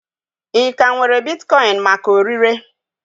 Ị ka nwere bitkoin maka ọrịre?